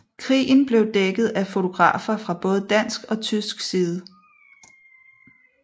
Krigen blev dækket af fotografer fra både dansk og tysk side